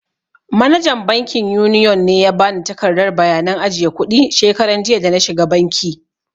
Manajan bankin yuniyon ne ya ba ni takardar bayanan ajiye kuɗi shekaran jiya da na shiga banki.